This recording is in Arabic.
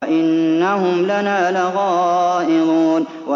وَإِنَّهُمْ لَنَا لَغَائِظُونَ